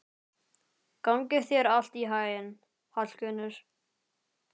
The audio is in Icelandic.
Gangi þér allt í haginn, Hallgunnur.